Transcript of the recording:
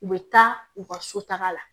U bɛ taa u ka so taga la